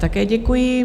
Také děkuji.